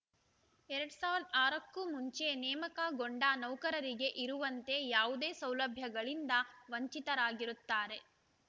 ಎರಡ್ ಸಾವಿರದ ಆರಕ್ಕೂ ಮುಂಚೆ ನೇಮಕಗೊಂಡ ನೌಕರರಿಗೆ ಇರುವಂತೆ ಯಾವುದೇ ಸೌಲಭ್ಯಗಳಿಂದ ವಂಚಿತರಾಗಿರುತ್ತಾರೆ